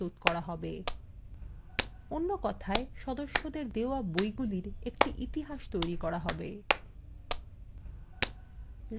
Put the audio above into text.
অন্য কথায় সদস্যদের দেওয়া বইগুলির একটি ইতিহাস তৈরী করা have